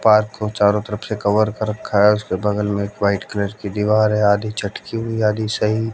park को चारो तरफ से कवर कर रखा है उसके बगल में एक वाइट कलर की दीवार है आधी चटकी हुई आधी सही--